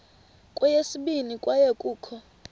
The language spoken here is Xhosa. kweyesibini kwaye kukho